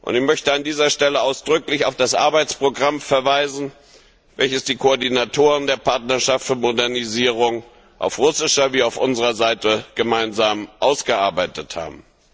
Ich möchte an dieser Stelle ausdrücklich auf das Arbeitsprogramm verweisen, welches die Koordinatoren der Partnerschaft für Modernisierung auf russischer wie auf unserer Seite gemeinsam ausgearbeitet haben.